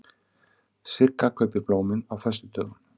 Sigga kaupir blómin á föstudögum.